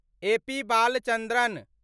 AP Balachandran